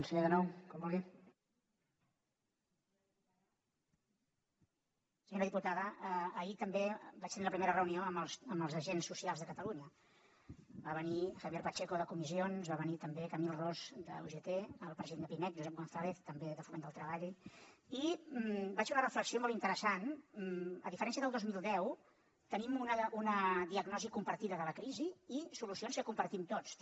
senyora diputada ahir també vaig tindre la primera reunió amb els agents socials de catalunya va venir javier pacheco de comissions va venir també camil ros d’ugt el president de pimec josep gonzález també de foment del treball i vaig fer una reflexió molt interessant a diferència del dos mil deu tenim una diagnosi compartida de la crisi i solucions que compartim tots també